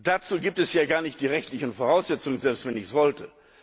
Dazu gibt es ja gar nicht die rechtlichen Voraussetzungen, selbst wenn ich es wollte.